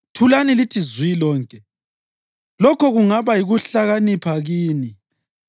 Thulani lithi zwi lonke! Lokho kungaba yikuhlakanipha kini.